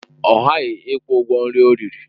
Ọ ghaghị ịkwụ ụgwọ nri ọ riri!